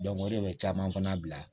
o de bɛ caman fana bila